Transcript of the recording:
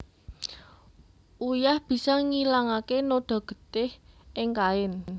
Uyah bisa ngilangaké noda getih ing kain